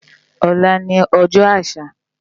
Olá ni òjò ásà